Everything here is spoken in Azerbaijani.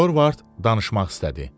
Dorvard danışmaq istədi.